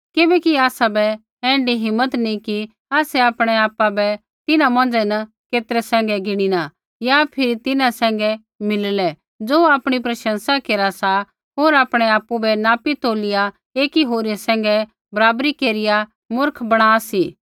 किबैकि आसाबै ऐण्ढी हिम्मत नी कि आसै आपणै आपु बै तिन्हां मोंझ़ै न केतरै सैंघै गिणिना या फिरी तिन्हां सैंघै मिलिले ज़ो आपणी प्रशंसा केरा सा होर आपणै आपु बै नापी तोलिया ऐकी होरी सैंघै बराबरी केरिया मुर्ख बणा सी